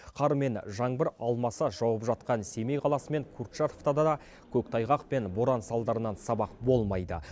қар мен жаңбыр алмаса жауып жатқан семей қаласы мен курчатовтада да көктайғақ пен боран салдарынан сабақ болмайды